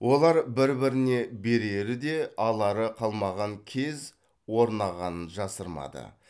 олар бір біріне берері де алары қалмаған кез орнағанын жасырмады